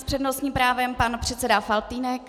S přednostním právem pan předseda Faltýnek.